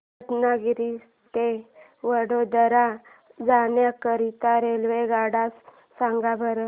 रत्नागिरी ते वडोदरा जाण्या करीता रेल्वेगाड्या सांगा बरं